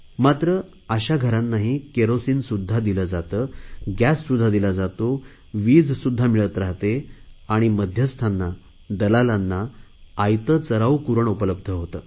मात्र अशा घरांना केरोसिनसुध्दा दिले जाते गॅससुध्दा दिला जातो वीजसुध्दा मिळत राहाते आणि मध्यस्थांना दलालांना आयते चराऊ कुरण उपलब्ध होते